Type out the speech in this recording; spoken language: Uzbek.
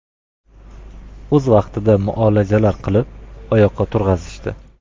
O‘z vaqtida muolajalar qilib, oyoqqa turg‘azishdi.